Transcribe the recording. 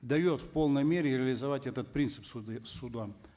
дает в полной мере реализовать этот принцип суды судам